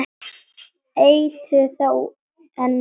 Eitur þá en ekki nú?